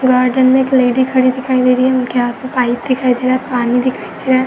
Garden में एक lady खड़ी दिखाई दे रही है। उनके हाथ में पाइप दिखाई दे रहा है। पानी दिखाई दे रहा है।